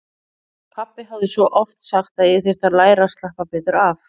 Pabbi hafði svo oft sagt að ég þyrfti að læra að slappa betur af.